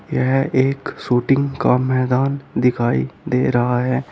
यह एक शूटिंग का मैदान दिखाई दे रहा है।